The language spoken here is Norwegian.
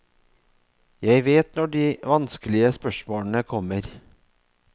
Jeg vet når de vanskelige spørsmålene kommer.